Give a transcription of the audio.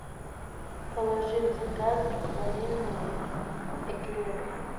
положи в заказ ванильные эклеры